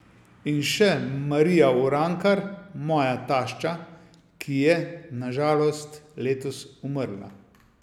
In še Marija Urankar, moja tašča, ki je, na žalost, letos umrla.